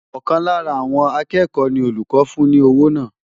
Ọ̀kan lára àwọn akẹ́kọ̀ọ́ ni olùkọ́ fún ní owó náà.